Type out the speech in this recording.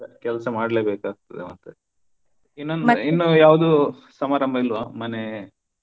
ಕೆಲ್ಸ ಮಾಡ್ಲೇಬೇಕಾಗ್ತದೆ ಮತ್ತೆ ಇನ್ನೊಂದ್ ಇನ್ನು ಯಾವ್ದು ಸಮಾರಂಭ ಇಲ್ವಾ ಮನೆ.